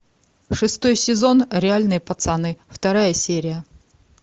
шестой сезон реальные пацаны вторая серия